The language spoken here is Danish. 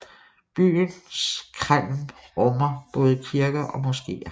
Byens kreml rummer både kirker og moskéer